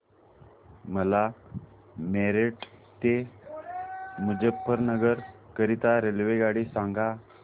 मला मेरठ ते मुजफ्फरनगर करीता रेल्वेगाडी सांगा